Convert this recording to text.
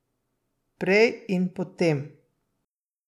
Prej in potem.